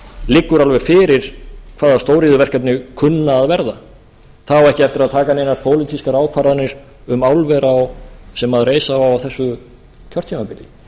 liggur alveg fyrir hvaða stóriðjuverkefni kunna að verða það á ekki eftir að taka neina pólitískar ákvarðanir um álver sem reisa á á þessu kjörtímabili